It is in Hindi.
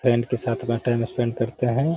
फ्रेंड के साथ अपना टाइम स्पेंड करते हैं।